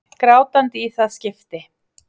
Grátandi í það skipti.